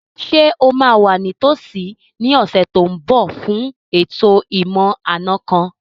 Ṣé o máa wà ní tòsí ní ọ̀sẹ̀ tó n bọ̀ fún ètò ìmọ̀-àna kan